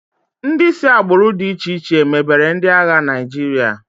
Ndị si agbụrụ dị iche iche mebere ndị agha Naịjirịa.